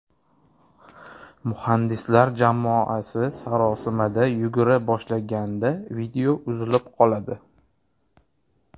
Muhandislar jamoasi sarosimada yugura boshlaganda video uzilib qoladi.